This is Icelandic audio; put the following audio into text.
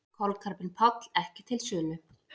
Kolkrabbinn Páll ekki til sölu